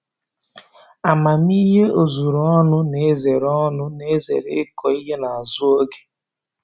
Amamihe ozuru ọnụ na-ezere ọnụ na-ezere ịkụ ihe n'azụ oge